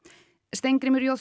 Steingrímur j